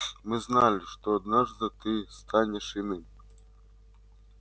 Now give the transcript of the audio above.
мы знали что однажды ты станешь иным